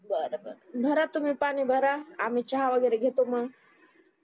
बरबर भरा तुम्ही पानी भरा आम्ही चहा वगैरे घेतो मग